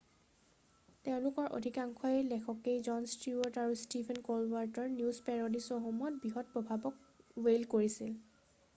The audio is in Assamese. তেওঁলোকৰ অধিকাংশ লেখকেই জন ষ্টিৱাৰ্ট আৰু ষ্টিফেন ক'লবাৰ্টৰৰ নিউজ পেৰ'ডি শ্ব'সমূহত বৃহৎ প্ৰভাৱক ৱেইল্ড কৰে৷